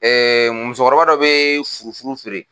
musokɔrɔba dɔ bɛ furuf furu feere